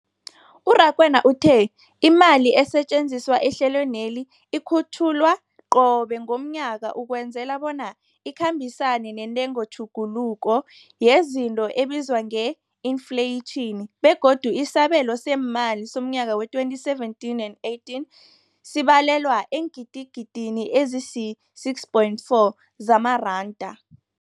U-Rakwena uthe imali esetjenziswa ehlelweneli ikhutjhulwa qobe ngomnyaka ukwenzela bona ikhambisane nentengotjhuguluko yezinto ebizwa nge-infleyitjhini, begodu isabelo seemali somnyaka we-2017 and 18 sibalelwa eengidigidini ezisi-6.4 zamaranda.